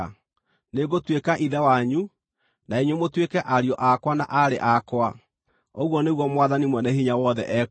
“Nĩngũtuĩka Ithe wanyu, na inyuĩ mũtuĩke ariũ akwa na aarĩ akwa, ũguo nĩguo Mwathani-Mwene-Hinya-Wothe ekuuga.”